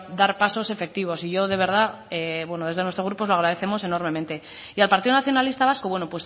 dar pasos efectivos y yo de verdad desde nuestro grupo os lo agradecemos enormemente y al partido nacionalista vasco bueno